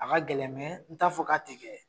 A ka gɛlɛ mɛ n t'a fɔ k'a ti kɛ